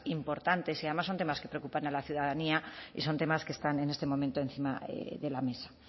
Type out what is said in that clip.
importantes y además son tenas que preocupan a la ciudadanía y son temas que están en este momento encima de la mesa